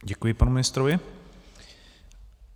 Děkuji panu ministrovi.